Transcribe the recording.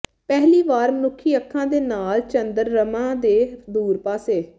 ਪਹਿਲੀ ਵਾਰ ਮਨੁੱਖੀ ਅੱਖਾਂ ਦੇ ਨਾਲ ਚੰਦਰਮਾ ਦੇ ਦੂਰ ਪਾਸੇ